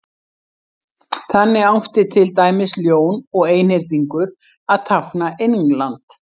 þannig átti til dæmis ljón og einhyrningur að tákna england